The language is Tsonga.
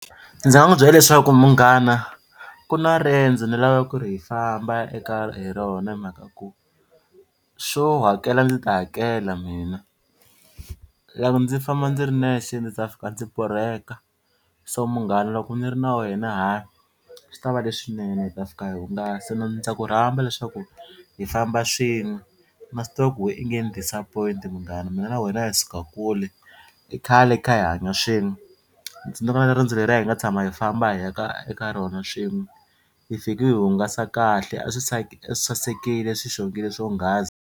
Ndzi nga n'wi byela leswaku munghana ku na riendzo ni lavaka ku ri hi famba eka hi rona hi mhaka ku swo hakela ni ta hakela mina. Loko ndzi famba ndzi ri nexe ndzi ta fika ndzi borheka so munghana loko ni ri na wena ha swi ta va leswinene hi ta fika hi hungasa ndza ku rhamba leswaku hi famba swin'we na swi tiva ku wehe i nge ni disappoint munghana mina na wena hi suka kule i khale hi kha hi hanya swin'we. Ndzi tsundzuka na riendzo leriya hi nga tshama hi famba hi ya ka eka rona swin'we hi fiki hi hungasa kahle a swi sasekile swi xongile swonghasi.